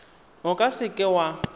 o ka se ka wa